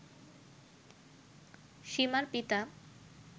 সীমার পিতা